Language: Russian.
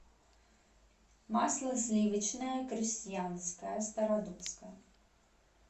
масло сливочное крестьянское стародубское